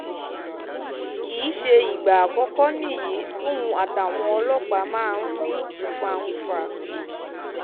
kì í sì í ṣe ìgbà àkọ́kọ́ nìyí tóun àtàwọn ọlọ́pàá máa n ní fá-n-fà